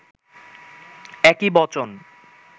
একই বচন